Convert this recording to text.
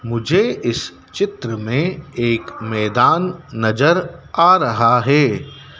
मुझे इस चित्र में एक मैदान नजर आ रहा है।